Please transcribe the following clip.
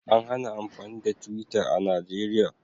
An hana amfani da twitter a Najeriya